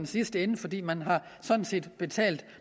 sidste ende fordi man sådan set har betalt